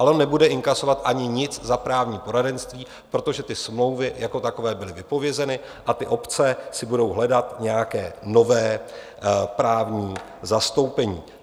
Ale on nebude inkasovat nic ani za právní poradenství, protože ty smlouvy jako takové byly vypovězeny a ty obce si budou hledat nějaké nové právní zastoupení.